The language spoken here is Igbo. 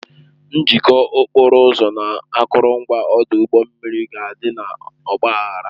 Njikọ okporo ụzọ na akụrụngwa ọdụ ụgbọ mmiri ga-adị n'ọgba aghara